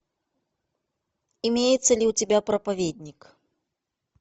имеется ли у тебя проповедник